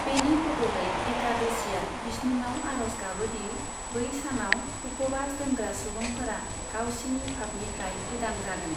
बेनि बद'लै, एकादशिआ बिष्णुनाव आर'ज गाबोदि बै सानाव उप'बास दोनग्रा सुबुंफोरा गावसिनि फाफनिफ्राय उदां जागोन।